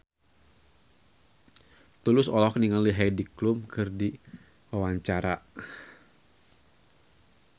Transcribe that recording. Tulus olohok ningali Heidi Klum keur diwawancara